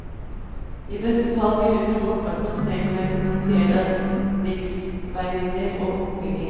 I beste fall vil under halvparten av tunnelen være finansiert av riksveimidler og bompenger.